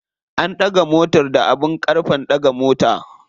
An ɗaga motar da abin ƙarfe ɗaga mota.